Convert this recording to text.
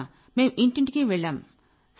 తర్వాత మేం ఇంటింటికీ వెళ్లాం